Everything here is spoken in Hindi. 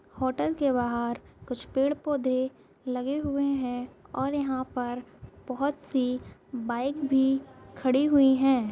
होटल के बाहर कुछ पेड़ पौधे ल गे हुए हैं और यहां पर बहुत सी बाइक भी खड़ी हुई है।